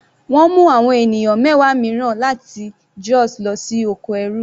Wọ́n mú àwọn ènìyàn mẹwa mìíràn láti Jos lọ sí oko ẹrú.